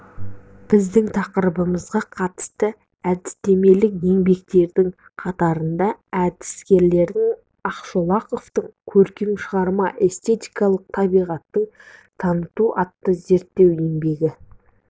біздің тақырыбымызға қатысты әдістемелік еңбектердің қатарында әдіскерғалым ақшолақовтың көркем шығарманың эстетикалық табиғатын таныту атты зерттеу еңбегі